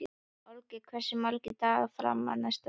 Olgeir, hversu margir dagar fram að næsta fríi?